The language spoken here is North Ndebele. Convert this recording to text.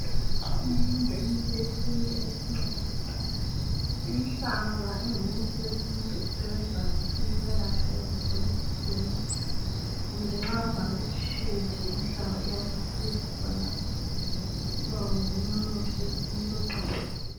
Minengi imithi yesiNtu esincedisa. Inhlaba ingumuthi wesiNtu osebenza kakhulu ukwelapha izifo ezitshiyeneyo kumbe nxa ungabe utshile inhlaba iyasisiza khonapha so ngomunye umuthi wesiNtu oqakathekileyo.